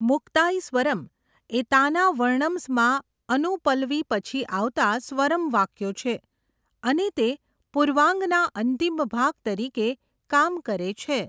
'મુક્તાઈ સ્વરમ્' એ 'તાના વર્ણમ્સ'માં અનુપલવી પછી આવતાં સ્વરમ વાક્યો છે અને તે પૂર્વાંગના અંતિમ ભાગ તરીકે કામ કરે છે.